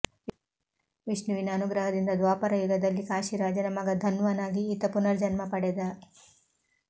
ವಿಷ್ಣುವಿನ ಅನುಗ್ರಹದಿಂದ ದ್ವಾಪರಯುಗದಲ್ಲಿ ಕಾಶೀರಾಜನ ಮಗ ಧನ್ವನಾಗಿ ಈತ ಪುನರ್ಜನ್ಮ ಪಡೆದ